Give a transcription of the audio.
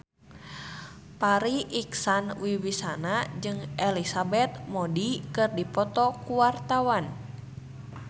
Farri Icksan Wibisana jeung Elizabeth Moody keur dipoto ku wartawan